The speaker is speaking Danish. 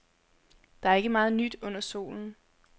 Der er ikke meget nyt under solen.